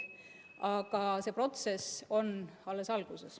Aga see protsess on alles alguses.